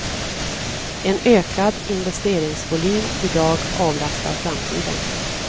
En ökad investeringsvolym i dag avlastar framtiden.